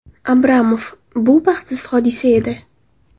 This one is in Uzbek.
Abramov: Bu baxtsiz hodisa edi.